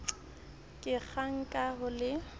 ka kgang ka ho le